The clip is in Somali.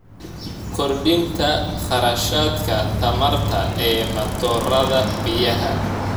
Kordhinta kharashka tamarta ee matoorada biyaha.